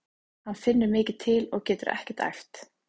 Hann finnur mikið til og getur ekkert æft.